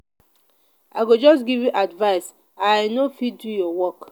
i go just give you advice i i no fit do your work.